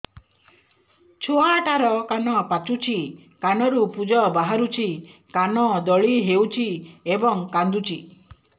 ଛୁଆ ଟା ର କାନ ପାଚୁଛି କାନରୁ ପୂଜ ବାହାରୁଛି କାନ ଦଳି ହେଉଛି ଏବଂ କାନ୍ଦୁଚି